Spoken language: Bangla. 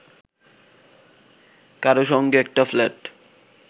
কারও সঙ্গে একটা ফ্ল্যাট